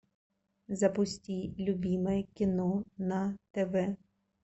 запусти любимое кино на тв